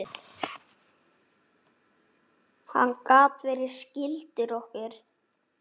Hann gat verið skyldur okkur.